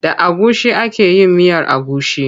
Da agushi ake yin miyar agushi.